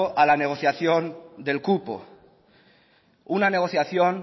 a la negociación del cupo una negociación